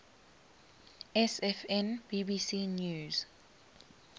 sfn bbc news